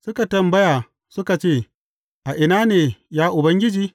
Suka tambaya, suka ce, A ina ne, ya Ubangiji?